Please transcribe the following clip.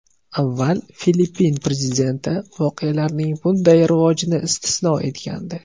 Avval Filippin prezidenti voqealarning bunday rivojini istisno etgandi.